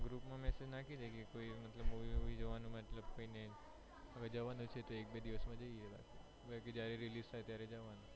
group માં message નાખી દઈએ કે કોઈ ને movie જોવા મતલબ જવાનું છે તો એકબે દિવસ માં જઇયે જયારે release થાય ત્યારે જવાનું